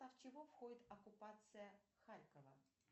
в состав чего входит оккупация харькова